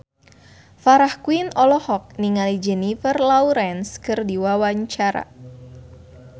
Farah Quinn olohok ningali Jennifer Lawrence keur diwawancara